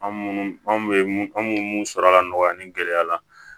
An munnu anw bɛ mun an munu munu sɔrɔ ka nɔgɔya an ni gɛlɛya la